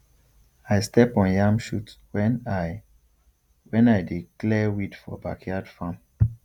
i step on yam shoot when i when i dey clear weed for backyard farm